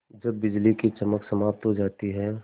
जब बिजली की चमक समाप्त हो जाती है